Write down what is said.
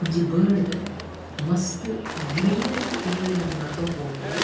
ಒಂಜಿ ಬರ್ಡ್ ಮಸ್ತ್ greenery area ಡ್ ನಡ್ತೊಂದು ಪೋವೊಂದುಂಡು.